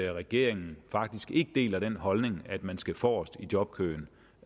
regeringen faktisk ikke deler den holdning at man skal forrest i jobkøen